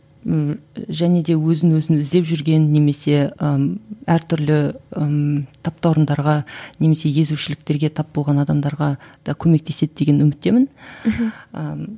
ііі және де өзін өзі іздеп жүрген немесе ііі әртүрлі ммм таптауырындарға немесе езушіліктерге тап болған адамдарға да көмектеседі деген үміттемін мхм ііі